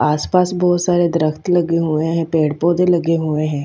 आस पास बहोत सारे दरख़्त लगे हुए है पेड़ पोधे लगे हुए है।